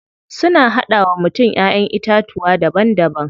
Suna hada wa mutum Ƴaƴan itatuwa daban daban.